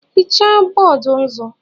hichaa bọọdụ nzu